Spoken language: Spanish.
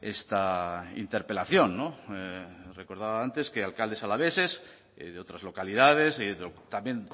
esta interpelación recordaba antes que alcaldes alaveses de otras localidades y también